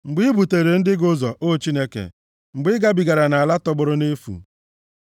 Mgbe i buteere ndị gị ụzọ, O Chineke, mgbe i gabigara nʼala tọgbọrọ nʼefu, Sela